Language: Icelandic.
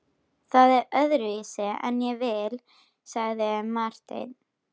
Það er öðruvísi en ég vil, sagði Marteinn.